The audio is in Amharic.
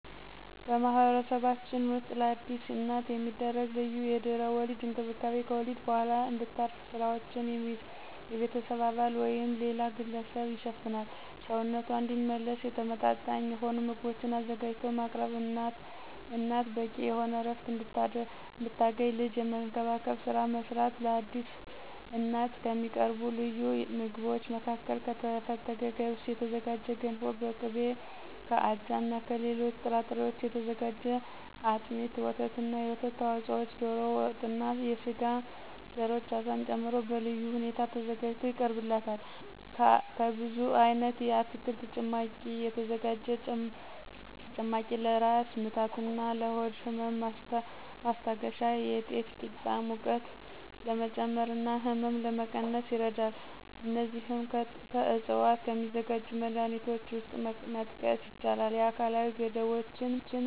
በማህበረሰባችን ውስጥ ለአዲስ እናት የሚደረግ ልዩ የድህረ ወሊድ እንክብካቤ ከወሊድ በኋላ እንድታርፍ ስራዎችን የቤተሰብ አባል ወይም ሌላ ግለሰብ ይሸፍናል፣ ሰውነቷ እንዲመለስ ተመመጣጣኝ የሆኑ ምግቦችን አዘጋጅቶ ማቅረብ፣ እናት በቂ የሆነ ዕረፍት እንድታገኝ ልጅን የመንከባከብን ስራ መስራት። ለአዲስ እናት ከሚቀርቡ ልዩ ምግቦች መካከል ከተፈተገ ገብስ የተዘጋጀ ገንፎ በቅቤ፣ ከአጃና ከሌሎች ጥራጥሬዎች የተዘጋጀ አጥሚት፣ ወተትና የወተት ተዋጽኦዎች፣ ዶሮ ወጥና የስጋ ዘሮች አሳን ጨምሮ በልዩ ሁኔታ ተዘጋጅቶ ይቀርብላታል። ከብዙ አይነት የአትክልት ጭማቂ የተዘጋጀ ጭማቂ ለራስ ምታትና ለሆድ ህመም ማስታገሻ፣ የጤፍ ቂጣ ሙቀት ለመጨመርና ህመም ለመቀነስ ይረዳል። እነዚህም ከዕፅዋት ከሚዘጋጁ መድሀኒቶች ውስጥ መጥቀስ ይቻላል። የአካላዊ ገደቦችም ውስጥ ከአካል እንቅስቃሴ ተወስኖ መቆየት።